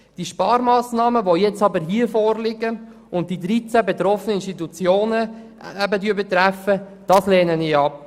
Die hier vorliegenden Sparmassnahmen, welche 13 Institutionen betreffen, lehne ich ab.